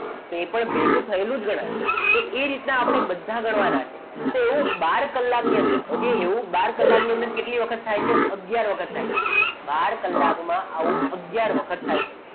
તો એ પણ ભેગું થયેલું જ ગણાય તો એ રીતના આપણે બધા ગણવાના તો એવો બાર કલાકની અંદર એવું બાર કલાકની અંદર કેટલી વખત થાય છે આગયાર વખત થાય બાર કલાકમાં આવો આગયાર વખત થાય છે